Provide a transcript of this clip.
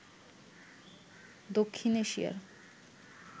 দক্ষিণ এশিয়ার